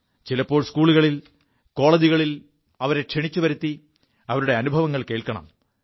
ചിലപ്പോൾ സ്കൂളുകളിൽ കോളജുകളിൽ അവരെ ക്ഷണിച്ചുവരുത്തി അവരുടെ അനുഭവങ്ങൾ കേൾക്കണം